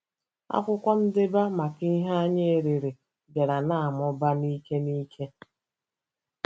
Akwụkwọ ndeba maka ihe anyị erere bịara na-amụba n'ike n'ike.